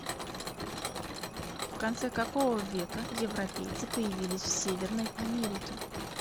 в конце какого века европейцы появились в северной америке